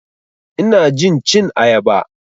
Ina jin cin ayaba.